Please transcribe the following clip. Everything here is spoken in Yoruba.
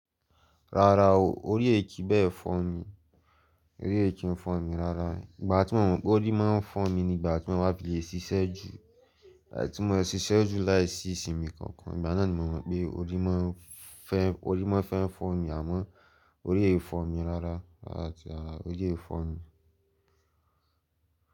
Rárá o, orí èki bẹ́ẹ̀ fọ́ mi, orí èki ń fọ́ mi rárá. Ìgbà tí mo mọ̀ pé orí máa ń fọ́ mi ni ìgbà tí mo bá fi lè ṣíṣẹ́ ju, tí mo siṣe jù láìsí ìsinmi kankan. Ìgbà náà ni mo mọ̀ pé orí máa ń fẹ́, orí máa fẹ́ ń fọ́ mi àmọ́ orí è fọ́ mi rárá, àti rarà, orí è fọ́ mi.